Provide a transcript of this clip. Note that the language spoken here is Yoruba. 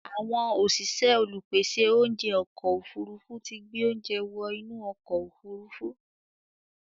Àwọn òṣìṣẹ́ olùpèsè oúnjẹ ọkọ̀ òfurufú tí gbé oúnjẹ wọ inú ọkọ̀ òfurufú.